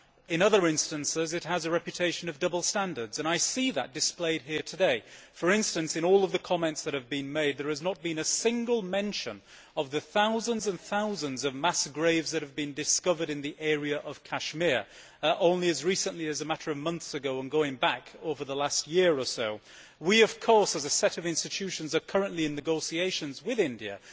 In other instances it has a reputation for double standards. I see that displayed here today. For instance, in all of the comments that have been made, there has not been a single mention of the thousands and thousands of mass graves that have been discovered in the area of Kashmir, only as recently as a matter of months ago and going back over the last year or so. We, of course, as a set of institutions, are currently in negotiations with India.